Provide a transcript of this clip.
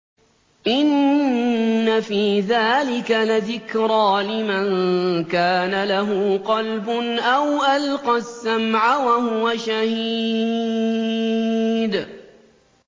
إِنَّ فِي ذَٰلِكَ لَذِكْرَىٰ لِمَن كَانَ لَهُ قَلْبٌ أَوْ أَلْقَى السَّمْعَ وَهُوَ شَهِيدٌ